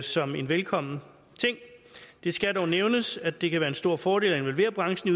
som en velkommen ting det skal dog nævnes at det kan være en stor fordel at involvere branchen